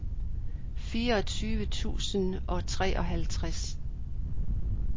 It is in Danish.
fireogtyve tusind og treoghalvtreds